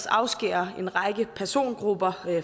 afskære en række persongrupper